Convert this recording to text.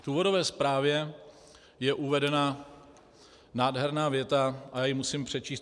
V důvodové zprávě je uvedena nádherná věta a já ji musím přečíst.